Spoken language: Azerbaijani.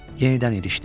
Yenidən idişdi.